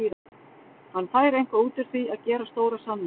Hann fær eitthvað út úr því að gera stóra samninga.